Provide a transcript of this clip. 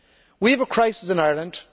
We have a crisis in Ireland